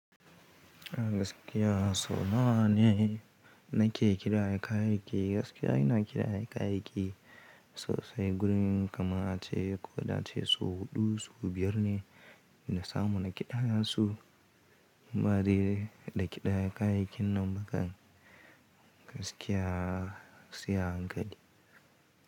Gaskiya sau nawa ne na ke kira aikai-aikai? Gaskiya ina kira aikai-aikai sosai. Gurin kama ce ko da ce sau huɗu, sau biyar ne na samu na kiɗa su. Bari da kiɗa aikai-kin nan ba kan gaskiya sai a hankali.